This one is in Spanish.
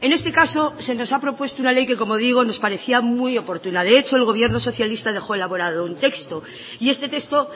en este caso se nos ha propuesto una ley que como digo nos parecía muy oportuna de hecho el gobierno socialista dejó elaborado un texto y este texto